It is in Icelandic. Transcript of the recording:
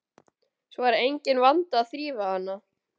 Svo er enginn vandi að þrífa hana.